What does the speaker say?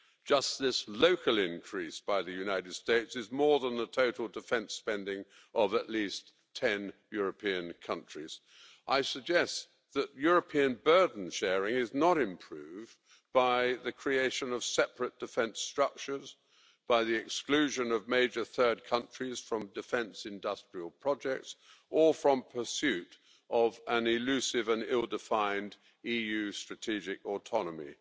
Just this local increase by the United States is more than the total defence spending of at least 10 European countries. I suggest that European burden sharing is not improved by the creation of separate defence structures, by the exclusion of major third countries from defence industrial projects or from pursuit of an elusive and ill-defined EU strategic autonomy.